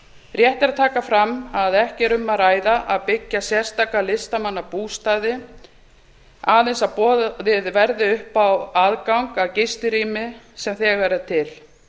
rétt er að taka fram að ekki er um að ræða að byggja sérstaka listamannabústaði aðeins að boðið verði upp á aðgang að gistirými sem þegar er til